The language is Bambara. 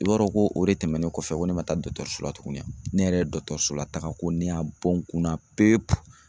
I b'a dɔn ko o de tɛmɛnen kɔfɛ ko ne ma taa la tugun ne yɛrɛ ye dɔgɔtɔrɔso la taga ko ne y'a bɔ n kun na pepu.